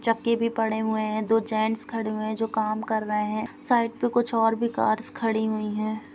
चक्के भी पड़े हुए है दो जेन्स खड़े हुए है जो काम कर रहै है साइड पे कुछ ओर भी कार खड़ी हुई हैं।